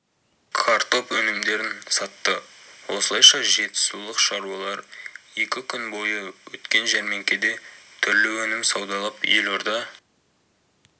картоп өнімдерін сатты осылайша жетісулық шаруалар екі күн бойы өткен жәрмеңкеде түрлі өнім саудалап елорда